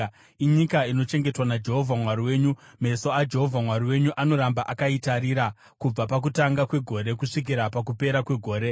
Inyika inochengetwa naJehovha Mwari wenyu; meso aJehovha Mwari wenyu anoramba akaitarira kubva pakutanga kwegore kusvikira pakupera kwegore.